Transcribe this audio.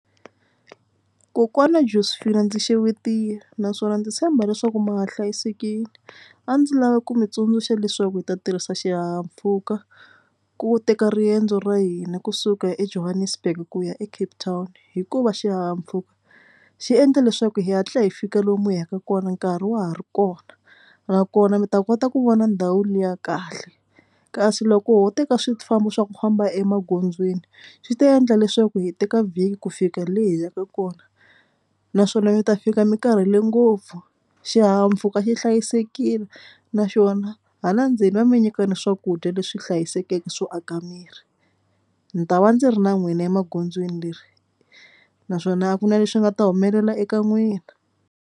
Kokwana Josephine ndzi xewetile naswona ndzi tshemba leswaku ma ha hlayisekile. A ndzi lavi ku mi tsundzuxa leswaku hi ta tirhisa xihahampfhuka ku teka riendzo ra hina kusuka eJohannesburg ku ya eCape Town hikuva xihahampfhuka xi endle leswaku hi hatla hi fika lomu hi yaka kona nkarhi wa ha ri kona nakona mi ta kota ku vona ndhawu liya kahle kasi loko ho teka swifambo swa ku famba emagondzweni swi ta endla leswaku hi teka vhiki ku fika le hi yaka kona naswona mi ta fika mi karhele ngopfu. Xihahampfhuka xi hlayisekile naswona hala ndzeni va mi nyika na swakudya leswi hlayisekeke swo aka miri. Ni ta va ndzi ri na n'wina emagondzweni leri naswona a ku na lexi nga ta humelela eka n'wina.